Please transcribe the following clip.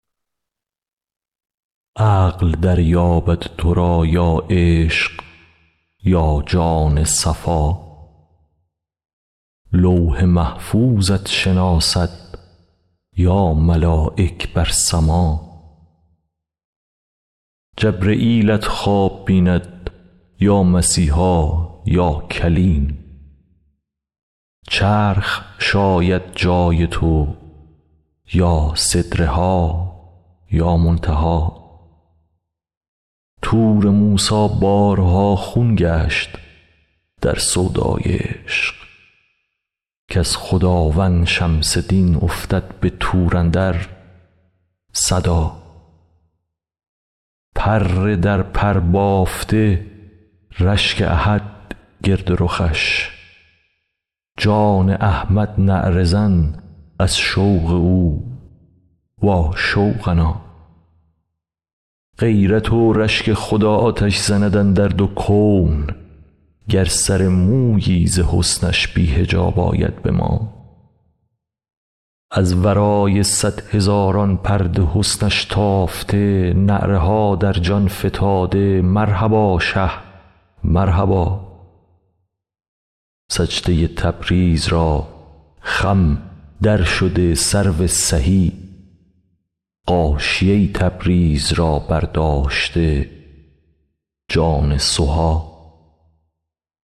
عقل دریابد تو را یا عشق یا جان صفا لوح محفوظت شناسد یا ملایک بر سما جبرییلت خواب بیند یا مسیحا یا کلیم چرخ شاید جای تو یا سدره ها یا منتها طور موسی بارها خون گشت در سودای عشق کز خداوند شمس دین افتد به طور اندر صدا پر در پر بافته رشک احد گرد رخش جان احمد نعره زن از شوق او واشوقنا غیرت و رشک خدا آتش زند اندر دو کون گر سر مویی ز حسنش بی حجاب آید به ما از ورای صد هزاران پرده حسنش تافته نعره ها در جان فتاده مرحبا شه مرحبا سجده ی تبریز را خم درشده سرو سهی غاشیه تبریز را برداشته جان سها